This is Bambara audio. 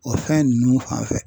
O fɛn ninnu fanfɛ